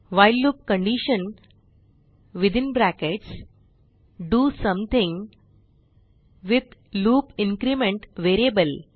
while loop condition do something with loop increment variable